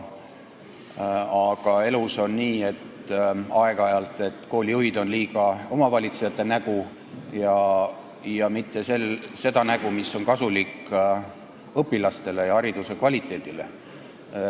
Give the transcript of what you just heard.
Aga elus on aeg-ajalt nii, et koolijuhid on liiga omavalitsejate nägu ja mitte seda nägu, mis oleks kasulik õpilastele ja hariduse kvaliteedile.